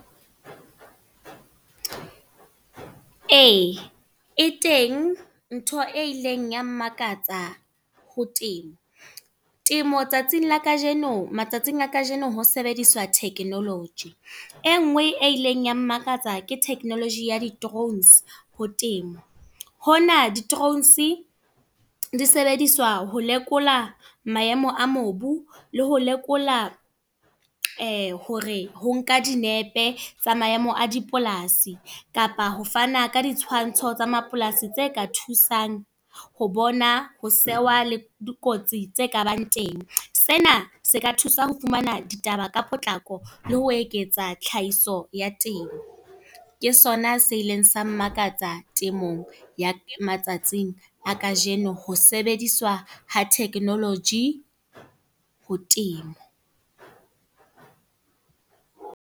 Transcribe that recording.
Ee, e teng ntho e ileng ya mmakatsa ho temo. Temo tsatsing la kajeno, matsatsing a kajeno ho sebediswa technology. E nngwe e ileng ya mmakatsa ke technology ya di-drones, ho temo. Hona di-drones di sebediswa ho lekola maemo a mobu, le ho lekola hore ho nka dinepe tsa maemo a dipolasi. Kapa ho fana ka ditshwantsho tsa mapolasi tse ka thusang, ho bona ho la dikotsi tse kabang teng. Sena se ka thusa ho fumana ditaba ka potlako le ho eketsa tlhahiso ya teng. Ke sona se ileng sa mmakatsa temong, ya matsatsing a kajeno. Ho sebediswa ha technology, ho temo.